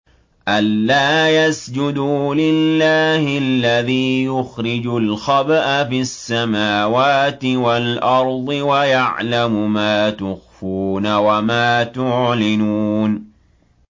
أَلَّا يَسْجُدُوا لِلَّهِ الَّذِي يُخْرِجُ الْخَبْءَ فِي السَّمَاوَاتِ وَالْأَرْضِ وَيَعْلَمُ مَا تُخْفُونَ وَمَا تُعْلِنُونَ